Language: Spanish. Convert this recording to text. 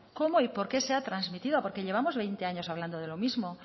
cómo y por qué se ha trasmitido porque llevamos veinte años hablando de lo mismo